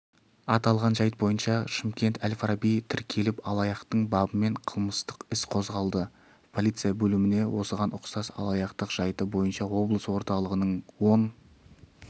аталған жайт бойынша шымкент әл-фараби тіркеліп алаяқтық бабымен қылмыстық іс қозғалды полиция бөліміне осыған ұқсас алаяқтық жайты бойынша облыс орталығының он